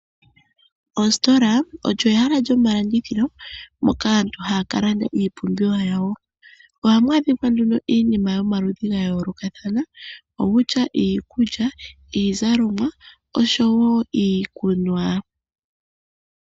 Ositola olyo ehala lyomalandithilo moka aantu haya kala